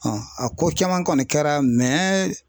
a ko caman kɔni kɛra